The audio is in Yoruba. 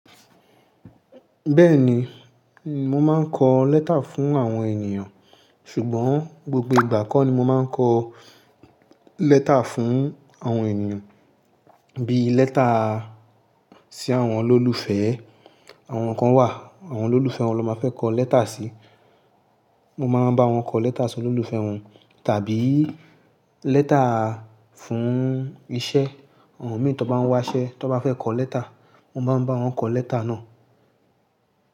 Bẹ́ẹ̀ni, mo máa ń kọ lẹ́tà fún àwọn ènìyàn, ṣùgbọ́n gbogbo ìgbà kọ́ ni mo máa ń kọ lẹ́tà fún àwọn ènìyàn, bí lẹ́tà sí àwọn olólùfẹ́, àwọn kan wà, àwọn olólùfẹ́ wọn ló máa fẹ́ kọ lẹ́tà si, mo máa ń bá wọn kọ lẹ́tà sí olólùfẹ́ wọn, tàbí lẹ́tà fún iṣẹ́, àwọn mìíràn tí wọ́n bá ń wá iṣẹ́, tí wọ́n bá fẹ́ kọ lẹ́tà, mo máa ń bá wọn kọ lẹ́tà náà.